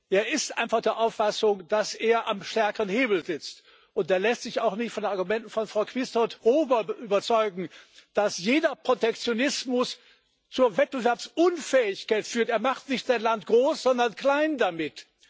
Er ist einfach der Auffassung, dass er am stärkeren Hebel sitzt, und er lässt sich auch nicht von den Argumenten von Frau Quisthoudt Rowohl überzeugen, wonach jeder Protektionismus zur Wettbewerbsunfähigkeit führt er macht nicht sein Land groß, sondern klein damit.